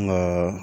Nka